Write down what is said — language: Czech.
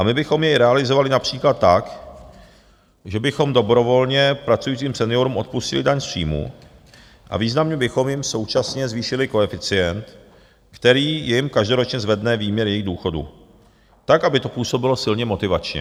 A my bychom jej realizovali například tak, že bychom dobrovolně pracujícím seniorům odpustili daň z příjmu a významně bychom jim současně zvýšili koeficient, který jim každoročně zvedne výměr jejich důchodu tak, aby to působilo silně motivačně.